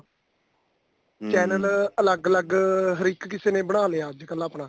channel ਅਲੱਗ ਅਲੱਗ ਹਰ ਇੱਕ ਕਿਸੇ ਨੇ ਬਣਾ ਲਿਆ ਅੱਜਕਲ ਆਪਣਾ